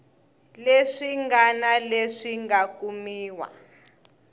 leswi ngana leswi nga kumiwa